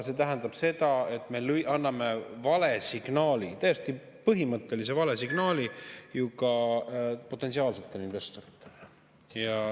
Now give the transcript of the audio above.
See tähendab ka seda, et me anname vale signaali, täiesti põhimõttelise vale signaali ju ka potentsiaalsetele investoritele.